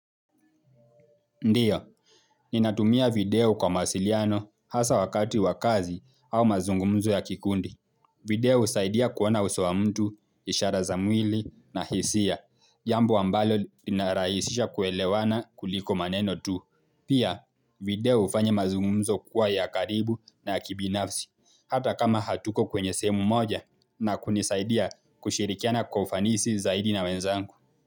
Ndio, ninatumia video kwa masiliano hasa wakati wa kazi au mazungumzo ya kikundi. Video husaidia kuona uso wa mtu, ishara za mwili na hisia. Jambo ambalo linarahisisha kuelewana kuliko maneno tu. Pia, video hufanya mazungumzo kuwa ya karibu na ya kibinafsi. Hata kama hatuko kwenye sehemu moja na kunisaidia kushirikiana kwa ufanisi zaidi na wenzangu.